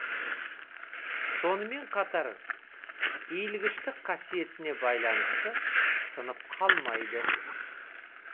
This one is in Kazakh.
сонымен қатар иілгіштік қасиетіне байланысты сынып қалмайды